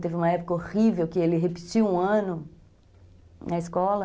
Teve uma época horrível que ele repetiu um ano na escola.